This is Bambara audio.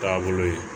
Taabolo ye